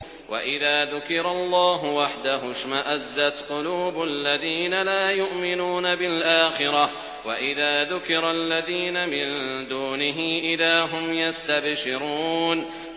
وَإِذَا ذُكِرَ اللَّهُ وَحْدَهُ اشْمَأَزَّتْ قُلُوبُ الَّذِينَ لَا يُؤْمِنُونَ بِالْآخِرَةِ ۖ وَإِذَا ذُكِرَ الَّذِينَ مِن دُونِهِ إِذَا هُمْ يَسْتَبْشِرُونَ